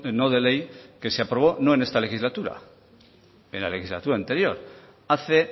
no de ley que se aprobó no en esta legislatura en la legislatura anterior hace